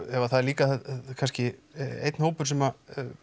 er líka kannski hópur sem